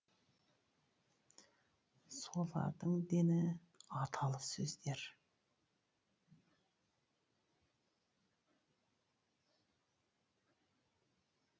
солардың дені аталы сөздер